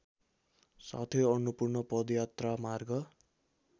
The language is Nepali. साथै अन्नपूर्ण पदयात्रामार्ग